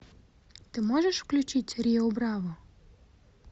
ты можешь включить рио браво